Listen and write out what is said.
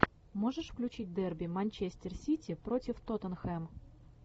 можешь включить дерби манчестер сити против тоттенхэм